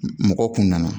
Mɔgɔw kun nana